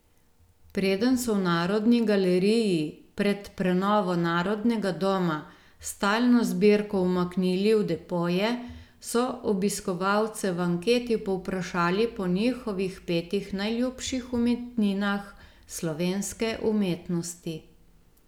Preden so v Narodni galeriji pred prenovo Narodnega doma stalno zbirko umaknili v depoje, so obiskovalce v anketi povprašali po njihovih petih najljubših umetninah slovenske umetnosti.